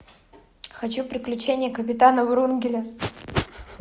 хочу приключения капитана врунгеля